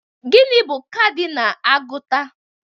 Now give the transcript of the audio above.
Gịnị bụ kadinal agụta?